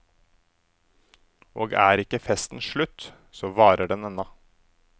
Og er ikke festen slutt, så varer den ennå.